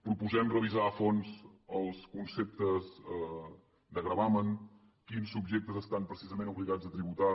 proposem revisar a fons els conceptes de gravamen quins subjectes estan precisament obligats a tributar